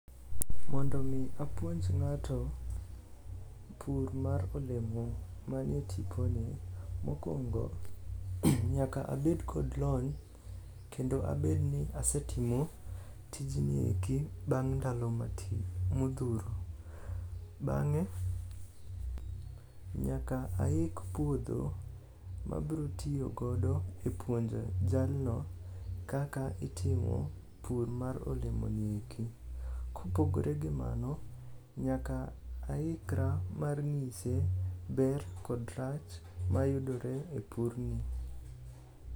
Mondo omi apuonj ng'ato pur mar olemo manie tiponi, mokwongo nyaka abed kod lony kendo abedni asetimo tijni eki bang' ndalo modhuro. Bang'e nyaka aik puodho mabrotiyogodo e puonjo jalno kaka itimo pur mar olemoni eki. Kopogore gi mano, nyaka aikra mar ng'ise ber kod rach mayudore e purni.